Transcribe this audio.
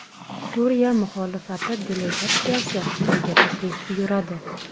Suriya muxolifati delegatsiyasi Xitoyga tashrif buyuradi.